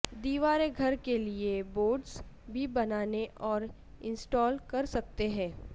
دیوار گھر کے لئے بورڈز بھی بنانے اور انسٹال کر سکتے ہیں